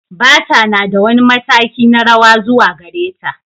Bata na da wani mataki na rawa zuwa gare ta.